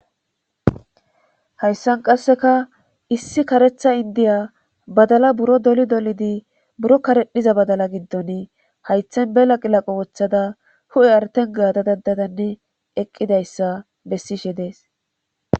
Hayssan qasseka issi karetha indiya badala buro doli dolidi buro karedhiza badala giddon haythen bela qilaqo woththada hu7e artengaadadandadanni eqqidayssa bessishe dees.